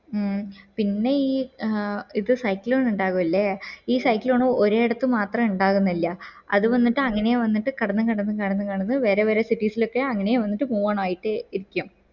മ് പിന്നെ ഈ ആഹ് ഇപ്പൊ cyclone ഇന്ഡക്സ് അല്ലെ ഈ cyclon ഒരേ ഇടത്ത് മാത്രം ഇണ്ടാകുന്നില്ല അത് വന്നിട്ട് അങ്ങനെ വന്നിട്ട് കടന്ന് കടന്ന് കടന്ന് കടന്ന് വേറെ വേറെ cities lokke അങ്ങനെ വന്നിട്ട് move on ആയി ഇരിക്ക